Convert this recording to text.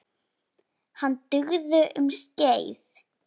Hann dugði um skeið.